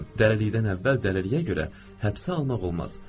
Dəlilikdən əvvəl dəliliyə görə həbsə almaq olmaz.